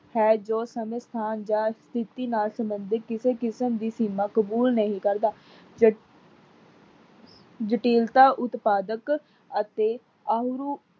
ਹੈ ਜੋ ਸਮੇਂ ਸਥਾਨ ਜਾਂ ਸਥਿਤੀ ਨਾਲ ਸੰਬਧਿਤ ਕਿਸੇ ਕਿਸਮ ਦੀ ਸੀਮਾਂ ਕਬੂਲ ਨਹੀਂ ਕਰਦਾ। ਜਟੀਲਤਾ ਉਤਪਾਧਕ ਅਤੇ ਅਯੁਰਉ